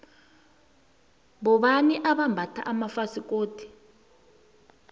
bobani abambatha amafasikodu